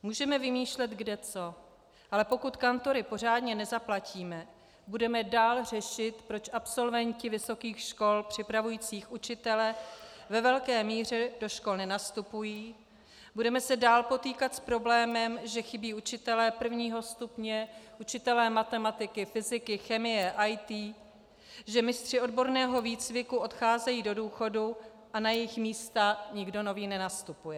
Můžeme vymýšlet kdeco, ale pokud kantory pořádně nezaplatíme, budeme dál řešit, proč absolventi vysokých škol připravující učitele ve velké míře do škol nenastupují, budeme se dál potýkat s problémem, že chybí učitelé prvního stupně, učitelé matematiky, fyziky, chemie, IT, že mistři odborného výcviku odcházejí do důchodu a na jejich místa nikdo nový nenastupuje.